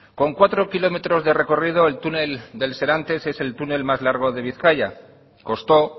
con cuatro kilómetros de recorrido el túnel del serantes es el túnel más largo de bizkaia costó